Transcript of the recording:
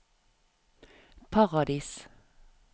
Paradis